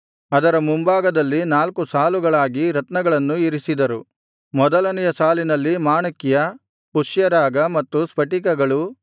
ಅದರ ಮುಂಭಾಗದಲ್ಲಿ ನಾಲ್ಕು ಸಾಲುಗಳಾಗಿ ರತ್ನಗಳನ್ನು ಇರಿಸಿದರು ಮೊದಲನೆಯ ಸಾಲಿನಲ್ಲಿ ಮಾಣಿಕ್ಯ ಪುಷ್ಯರಾಗ ಮತ್ತು ಸ್ಫಟಿಕಗಳು